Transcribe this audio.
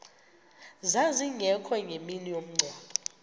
zazingekho ngemini yomngcwabo